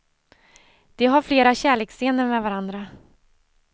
De har flera kärleksscener med varandra.